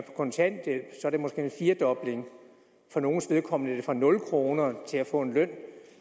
kontanthjælp er det måske en firdobling for nogles vedkommende er det fra nul kroner til at få en løn